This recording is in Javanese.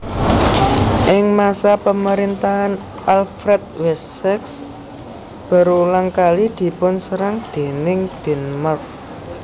Ing masa pemerintahan Alfred Wessex berulang kali dipunserang déning Denmark